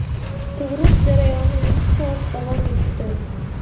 Tug‘ruq jarayoni yetti soat davom etdi.